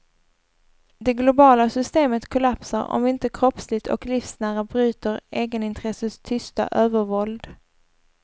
Det globala systemet kollapsar om vi inte kroppsligt och livsnära bryter egenintressets tysta övervåld.